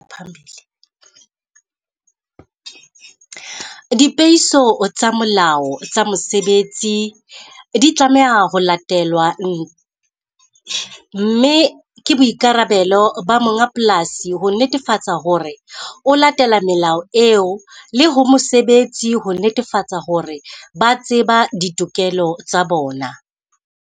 Dipehiso tsa molao tsa mosebetsi di tlameha ho latelwa . Mme ke boikarabelo ba monga polasi ho netefatsa hore o latela melao eo, le ho mosebetsi ho netefatsa hore ba tseba ditokelo tsa bona.